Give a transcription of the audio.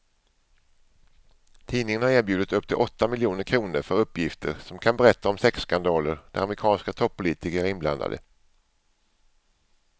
Tidningen har erbjudit upp till åtta miljoner kr för uppgifter som kan berätta om sexskandaler där amerikanska toppolitiker är inblandade.